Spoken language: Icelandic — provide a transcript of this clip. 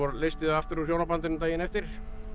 leysti þau aftur úr hjónabandinu daginn eftir